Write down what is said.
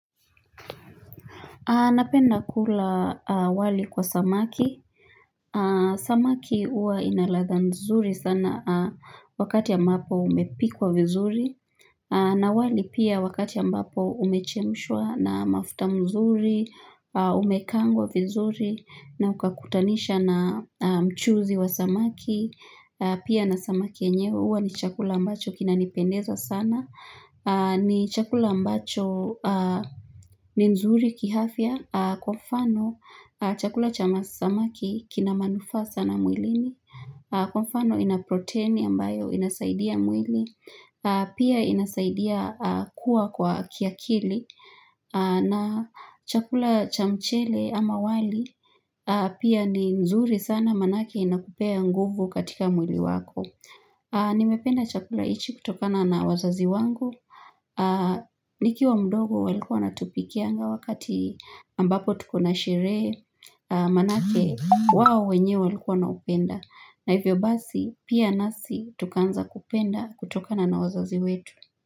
Napenda kula wali kwa samaki. Samaki huwa ina ladha nzuri sana wakati ambapo imepikwa vizuri. Na wali pia wakati ambapo umechemshwa na mafuta mzuri, umekaangwa vizuri, na ukakutanisha na mchuzi wa samaki. Pia na samaki yenyewe huwa ni chakula ambacho kinanipendeza sana. Ni chakula ambacho ni nzuri kiafya. Kwa mfano chakula cha masamaki kina manufaa sana mwilini. Kwa mfano ina protini ambayo inasaidia mwili. Pia inasaidia kuwa kwa kiakili. Na chakula cha mchele ama wali pia ni nzuri sana maanake inakupea nguvu katika mwili wako Nimependa chakula hichi kutokana na wazazi wangu Nikiwa mdogo walikuwa wanatupikianga wakati ambapo tuko na sherehe Maanake wao wenyewe walikuwa wanaupenda. Na hivyo basi pia nasi tukaanza kupenda kutokana na wazazi wetu.